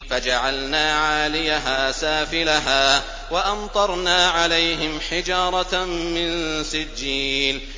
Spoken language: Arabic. فَجَعَلْنَا عَالِيَهَا سَافِلَهَا وَأَمْطَرْنَا عَلَيْهِمْ حِجَارَةً مِّن سِجِّيلٍ